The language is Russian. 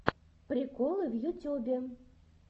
приколы в ютюбе